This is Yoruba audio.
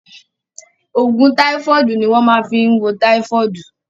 Òògùn táífọ̀dù ni wọ́n máa fí wo táífọ̀dù.